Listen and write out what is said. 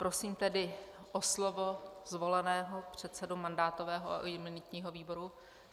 Prosím tedy o slovo zvoleného předsedu mandátového a imunitního výboru...